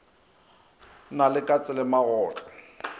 na le katse le magotlo